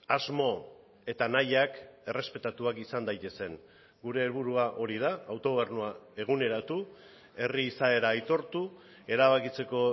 asmo eta nahiak errespetatuak izan daitezen gure helburua hori da autogobernua eguneratu herri izaera aitortu erabakitzeko